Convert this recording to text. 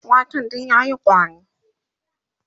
waken duk yayi ƙwari